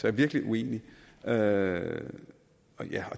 er virkelig uenig og ja